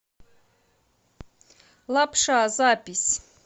лапша запись